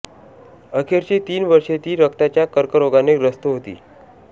अखेरची तीन वर्षे ती रक्ताच्या कर्करोगाने ग्रस्त होती